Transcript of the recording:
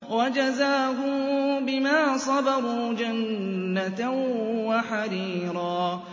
وَجَزَاهُم بِمَا صَبَرُوا جَنَّةً وَحَرِيرًا